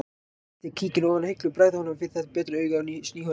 Ég tek kíkinn ofan af hillu og bregð honum fyrir betra augað sný honum við